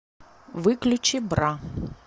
выключи бра